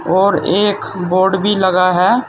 और एक बोर्ड भी लगा है।